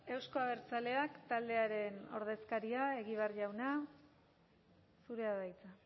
euzko abertzaleak taldearen ordezkaria egibar jauna zurea da hitza